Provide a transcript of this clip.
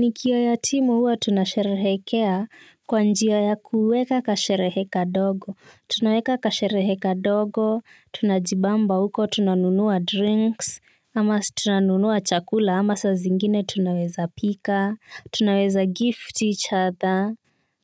Ni kiyoo ya timu huwa tunasherehekea kwa njia ya kuweka kasherehe kadogo, tunaweka kasherehe kadogo, tunajibamba huko, tunanunua drinks, ama tunanunua chakula, ama sa zingine tunaweza pika, tunaweza gift each other,